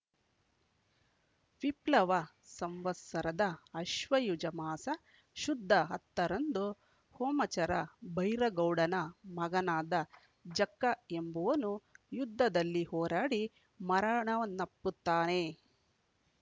ವಿಪ್ಲವ ಸಂವತ್ಸರದ ಅಶ್ವಯುಜ ಮಾಸ ಶುದ್ಧ ಹತ್ತ ರಂದು ಹೊಮಚರ ಬೈರಗೌಡನ ಮಗನಾದ ಜಕ್ಕ ಎಂಬುವನು ಯುದ್ದದಲ್ಲಿ ಹೋರಾಡಿ ಮರಣವನ್ನುಪ್ಪತ್ತಾನೆ